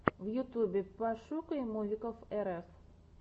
в ютюбе пошукай мувиков рф